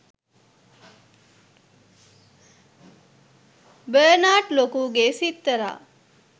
Bernard ලොකුගේ සිත්තරා